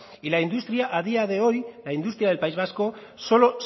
y la industria a día de hoy la industria del país vasco solo